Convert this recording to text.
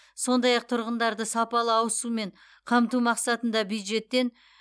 сондай ақ тұрғындарды сапалы ауыз сумен қамту мақсатында бюджеттен